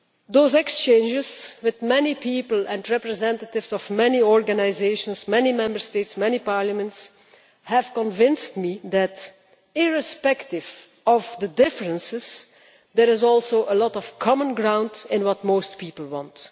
Those exchanges with many people and representatives of many organisations, many Member States and many parliaments have convinced me that, irrespective of the differences, there is also a lot of common ground in what most people want.